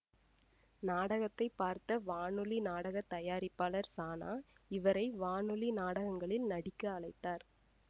நாடகத்தைப் பார்த்த வானொலி நாடக தயாரிப்பாளர் சானா இவரை வானொலி நாடகங்களில் நடிக்க அழைத்தார்